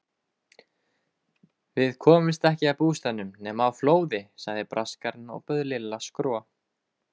Við komust ekki að bústaðnum nema á flóði sagði Braskarinn og bauð Lilla skro.